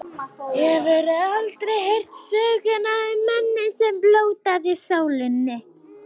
Hefurðu aldrei heyrt söguna um manninn, sem blótaði sólinni.